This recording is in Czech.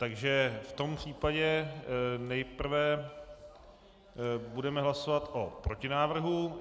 Takže v tom případě nejprve budeme hlasovat o protinávrhu.